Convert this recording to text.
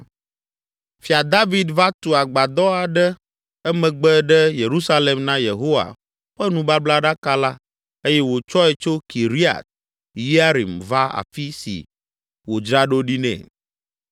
Fia David va tu agbadɔ aɖe emegbe ɖe Yerusalem na Yehowa ƒe nubablaɖaka la eye wòtsɔe tso Kiriat Yearim va afi si wòdzra ɖo ɖi nɛ.